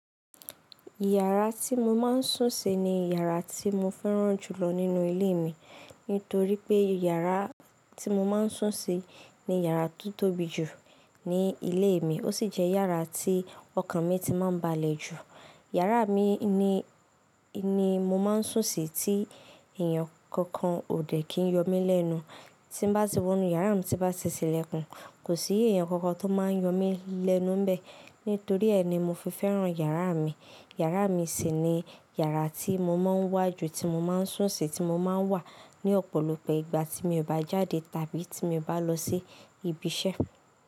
Yàrá tí mo máa ń sùn sí ni yàrá tí mo fẹ́ràn jùlọ nínú ilé mi. Nítorí pé yàrá tí mo máa ń sùn sí ni yàrá tó tóbi jù ní ilé mi, ó sì jẹ́ yàrá tí ọkàn mi ti máa ń balẹ̀ jù. Yàrá mi ni, ni mo máa ń sùn sí tí èèyàn kankan ò dẹ̀ kí ń yọ mí lẹ́nu. Tí bá ti wọ inú yàrá mi, tí bá ti tílẹ̀ kún, kò sí èèyàn kankan tó máa ń yọ mí lẹ́nu bẹ́ẹ̀. Nítorí ẹ ni mo fi fẹ́ràn yàrá mi. Yàrá mi sì ni yàrá tí mo máa ń wá ju, tí mo máa ń sùn sí, tí mo máa ń wà ní ọ̀pọ̀lọpọ̀ ìgbà tí mo bá jáde tàbí tí mo bá lọ sí ibi iṣẹ́.